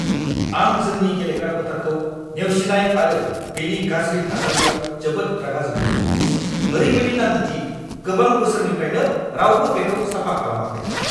आं जोंनि गेलेग्रा फोथारखौ नेवसिनाय आरो बेनि गाज्रि थासारियाव जोबोद रागा जोंदों! ओरैबायदि नाङो दि गोबां बोसोरनिफ्रायनो रावबो बेखौ साफा खालामाखै!